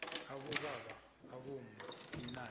abobaba abomma inani